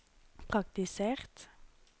praktisert